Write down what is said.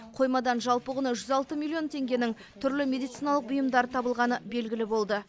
қоймадан жалпы құны жүз алты миллион теңгенің түрлі медициналық бұйымдар елгілі болды